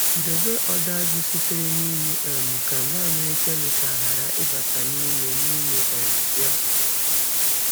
Debe ọdọ azụ sitere n’iyi um ka mmamịrị kemikal ghara ịbata n’ime n’ime um ya.